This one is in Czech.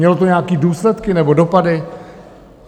Mělo to nějaké důsledky nebo dopady?